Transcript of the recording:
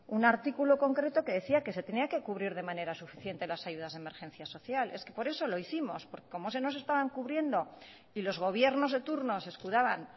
un artículo concreto que decía que se tenía que cubrir de manera suficiente las ayudas de emergencia social es que por eso lo hicimos porque como no se nos estaban cubriendo y los gobiernos de turno se escudaban